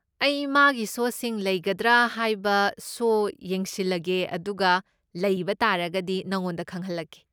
ꯑꯩ ꯃꯥꯒꯤ ꯁꯣꯁꯤꯡ ꯂꯩꯒꯗ꯭ꯔꯥ ꯍꯥꯏꯕꯁꯣ ꯌꯦꯡꯁꯤꯜꯂꯒꯦ ꯑꯗꯨꯒ ꯂꯩꯕ ꯇꯥꯔꯒꯗꯤ ꯅꯉꯣꯟꯗ ꯈꯪꯍꯜꯂꯛꯀꯦ꯫